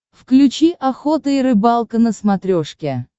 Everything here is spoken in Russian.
включи охота и рыбалка на смотрешке